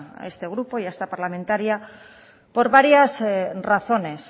a este grupo y a esta parlamentaria por varias razones